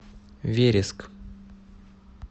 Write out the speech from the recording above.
вереск